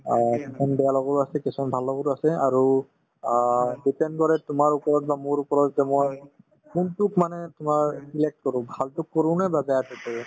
অ, কিছুমান বেয়া লগৰো আছে কিছুমান ভাল লগৰো আছে আৰু অ depend কৰে তোমাৰ ওপৰত বা মোৰ ওপৰত যে মই কোনটোক মানে তোমাৰ select কৰো ভালতোক কৰোনে বা বেয়াতোক কৰো